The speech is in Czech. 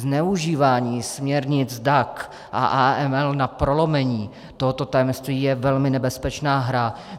Zneužívání směrnic DAC a AML na prolomení tohoto tajemství je velmi nebezpečná hra.